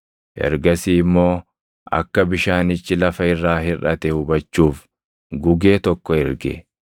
Ergasii immoo akka bishaanichi lafa irraa hirʼate hubachuuf gugee tokko erge.